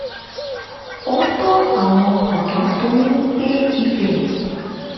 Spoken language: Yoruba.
ó tọ́ àwọn ọ̀dọ́ tó ń gbé ibẹ̀